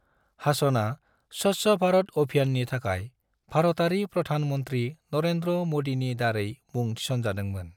हासनआ स्वच्छ भारत अभियाननि थाखाय भारतारि प्रधान मंत्री नरेंद्र मोदीनि दारै मुं थिसनजादोंमोन।